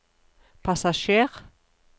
passasjer